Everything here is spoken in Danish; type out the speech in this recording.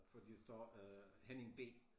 Fordi der står øh Henning B